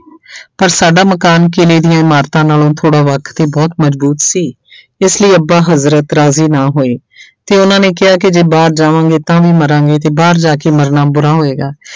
ਪਰ ਸਾਡਾ ਮਕਾਨ ਕਿਲ੍ਹੇ ਦੀਆਂ ਇਮਾਰਤਾਂ ਨਾਲੋਂ ਥੋੜ੍ਹਾ ਵੱਖ ਤੇ ਬਹੁਤ ਮਜ਼ਬੂਤ ਸੀ ਇਸ ਲਈ ਅੱਬਾ ਹਜ਼ਰਤ ਰਾਜ਼ੀ ਨਾ ਹੋਏ ਤੇ ਉਹਨਾਂ ਨੇ ਕਿਹਾ ਕਿ ਜੇ ਬਾਹਰ ਜਾਵਾਂਗੇ ਤਾਂ ਵੀ ਮਰਾਂਗੇ ਤੇ ਬਾਹਰ ਜਾ ਕੇ ਮਰਨਾ ਬੁਰਾ ਹੋਏਗਾ।